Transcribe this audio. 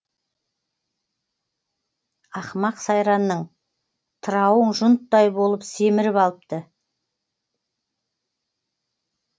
ақымақ сайранның тырауың жұнттай болып семіріп алыпты